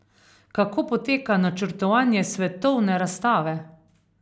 Kako poteka načrtovanje svetovne razstave?